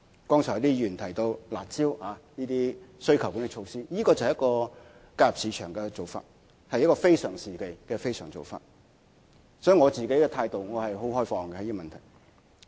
剛才有議員提到"辣招"的需求管理措施，這是介入市場的做法，是一個非常時期的非常做法，因此我對這個問題持開放態度。